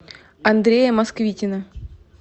андрея москвитина